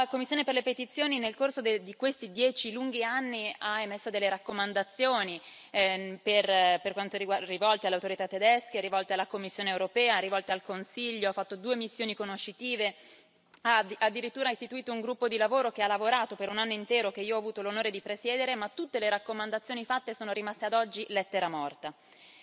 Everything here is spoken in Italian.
La commissione per le petizioni, nel corso di questi dieci lunghi anni, ha emesso delle raccomandazioni rivolte alle autorità tedesche, rivolte alla Commissione europea, rivolte al Consiglio, ha fatto due missioni conoscitive, ha addirittura istituito un gruppo di lavoro che ha lavorato per un anno intero, che io ho avuto l'onore di presiedere, ma tutte le raccomandazioni fatte sono rimaste ad oggi lettera morta.